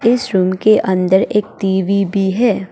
इस रूम के अंदर एक टी_वी भी है।